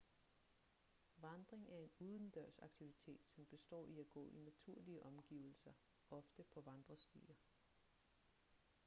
vandring er en udendørsaktivitet som består i at gå i naturlige omgivelser ofte på vandrestier